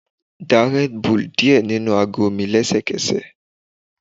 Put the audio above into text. Da red bull diẹ ninu ago mi lẹsẹkẹsẹ